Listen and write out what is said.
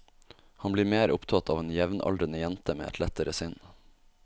Han blir mer opptatt av en jevnaldrende jente med et lettere sinn.